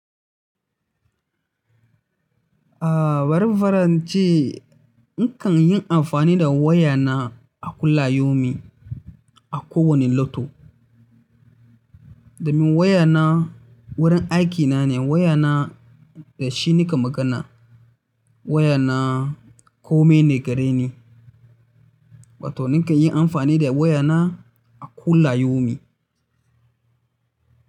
Ah, bari in fara ince nakan yin amfani da waya na a kullayaumi a kowane loto. Domin waya na wurin aikina ne, waya na da shi nika magana. Waya na kome ne gareni, wato nikan yi amfani da waya na a kullayaumi.